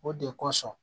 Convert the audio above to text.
O de kosɔn